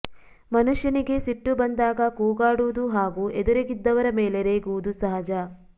ಮನುಷ್ಯನಿಗೆ ಸಿಟ್ಟು ಬಂದಾಗ ಕೂಗಾಡುವುದು ಹಾಗೂ ಎದುರಿಗಿದ್ದವರ ಮೇಲೆ ರೇಗುವುದು ಸಹಜ